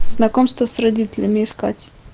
знакомство с родителями искать